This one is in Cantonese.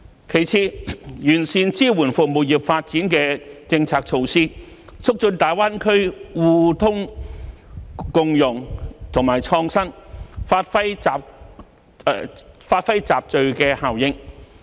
其次，完善支援服務業發展的政策措施，促進大灣區互通共融與創新，發揮集聚效應。